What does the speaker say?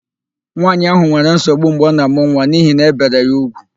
Nwaanyị ahụ nwere nsogbu mgbe ọ na-àmụ́ nwa n'ihi na ébèrè ya úgwù.